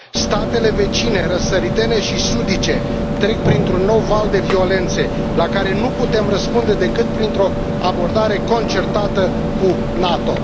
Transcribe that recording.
Statele vecine răsăritene și sudice trec printr un nou val de violențe, la care nu putem răspunde decât printr o abordare concertată cu NATO.